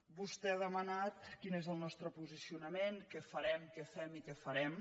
vostè ha demanat quin és el nostre posicionament què farem què fem i què farem